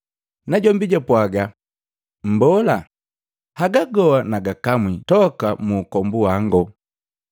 Najombi japwaga, “Mbola, haga goa nagakamwi toka muukombu wango.”